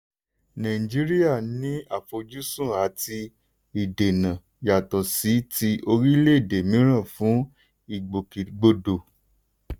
nàìjíríà ní àfojúsùn àti ìdènà yàtọ̀ sí ti orílẹ̀-èdè míràn fún ìgbòkègbodò.